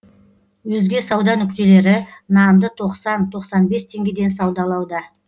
өзге сауда нүктелері нанды тоқсан тоқсан бес теңгеден саудалауда